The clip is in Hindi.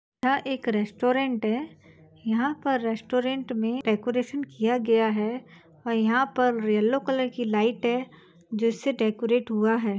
यह एक रेस्टोरेंट है यहां पर रेस्टोरेंट में डेकोरेशन किया गया है और यहां पर येलो कलर की लाइट है जिससे डेकोरेट हुआ है ।